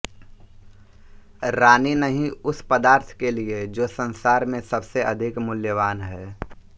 रानीनहीं उस पदार्थ के लिए जो संसार में सबसे अधिक मूल्यवान है